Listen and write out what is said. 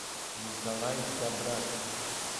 николай габрат